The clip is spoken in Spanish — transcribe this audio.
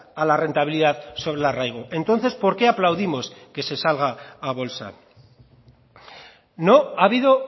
a la rentabilidad sobre el arraigo entonces por qué aplaudimos que se salga a bolsa no ha habido